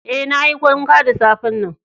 Eh, na yi wanka da safe'n nan.